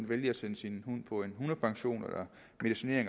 vælge at sende sin hund på en hundepension eller medicinere